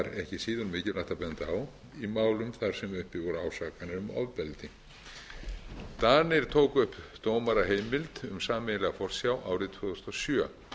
benda á í málum þar sem uppi voru ásakanir um ofbeldi danir tóku upp dómaraheimild um sameiginlega forsjá árið tvö þúsund og sjö